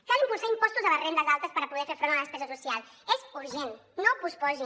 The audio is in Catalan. cal impulsar impostos a les rendes altes per poder fer front a la despesa social és urgent no ho posposin